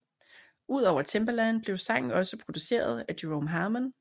Udover Timbaland blev sangen også produceret af Jerome Harmon